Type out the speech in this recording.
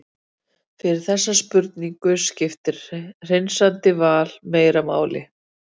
Fyrir þessa spurningu skiptir hreinsandi val meira máli.